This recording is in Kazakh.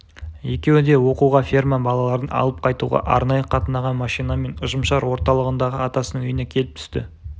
екеуі де оқуға ферма балаларын алып қайтуға арнайы қатынаған машинамен ұжымшар орталығындағы атасының үйіне келіп түсті